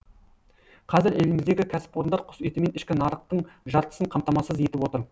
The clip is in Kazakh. қазір еліміздегі кәсіпорындар құс етімен ішкі нарықтың жартысын қамтамасыз етіп отыр